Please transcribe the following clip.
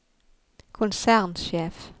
konsernsjef